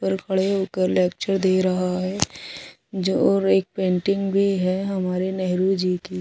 पर खड़े होकर लेक्चर दे रहा है। जोर एक पेंटिंग भी है हमारे नेहरू जी की।